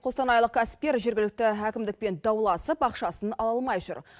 қостанайлық кәсіпкер жергілікті әкімдікпен дауласып ақшасын ала алмай жүр